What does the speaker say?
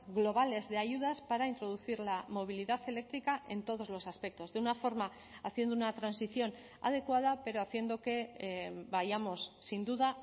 globales de ayudas para introducir la movilidad eléctrica en todos los aspectos de una forma haciendo una transición adecuada pero haciendo que vayamos sin duda